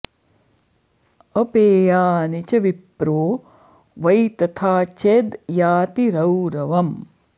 अपेयानि च विप्रो वै तथा चेद् याति रौरवम्